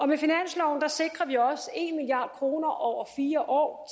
med finansloven sikrer vi også en milliard kroner over fire år